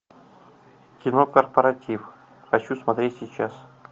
кино корпоратив хочу смотреть сейчас